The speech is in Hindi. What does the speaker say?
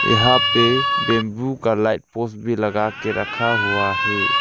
यहां पे बंबू का लाइट पोस्ट भी लगा के रखा हुआ है।